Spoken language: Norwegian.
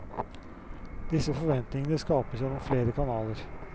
Disse forventningene skapes gjennom flere kanaler.